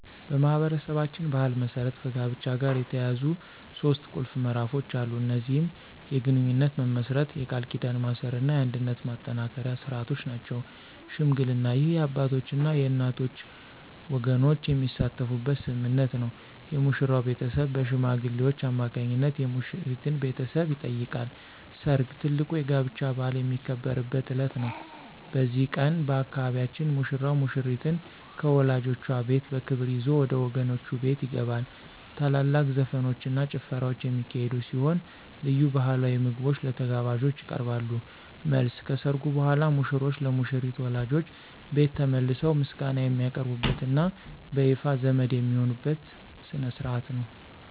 በማኅበረሰባችን ባሕል መሠረት ከጋብቻ ጋር የተያያዙ ሦስት ቁልፍ ምዕራፎች አሉ። እነዚህም የግንኙነት መመስረት፣ የቃል ኪዳን ማሰርና የአንድነት ማጠናከሪያ ሥርዓቶች ናቸው። ሽምግልና: ይህ የአባቶችና የእናቶች ወገኖች የሚሳተፉበት ስምምነት ነው። የሙሽራው ቤተሰብ በሽማግሌዎች አማካኝነት የሙሽሪትን ቤተሰብ ይጠይቃሉ። ሰርግ: ትልቁ የጋብቻ በዓል የሚከበርበት ዕለት ነው። በዚህ ቀን፣ በአካባቢያችን ሙሽራው ሙሽሪትን ከወላጆቿ ቤት በክብር ይዞ ወደ ወገኖቹ ቤት ይገባል። ታላላቅ ዘፈኖችና ጭፈራዎች የሚካሄዱ ሲሆን፣ ልዩ ባሕላዊ ምግቦች ለተጋባዦች ይቀርባሉ። መልስ : ከሠርጉ በኋላ ሙሽሮች ለሙሽሪት ወላጆች ቤት ተመልሰው ምስጋና የሚያቀርቡበትና በይፋ ዘመድ የሚሆኑበት ሥነ ሥርዓት ነው።